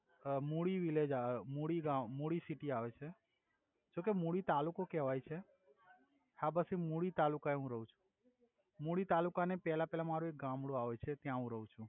અ Mudi village આવે મુડી ગામ Mudi city આવે છે જોકે મુડી તાલુકો કેવાય છે હા બસ એ મુડી તાલુકા એ હુ રહુ છુ મુડી તાલુકા ની પેલા પેલા મારુ એક ગામડુ આવે છે ત્યા હુ રવ છુ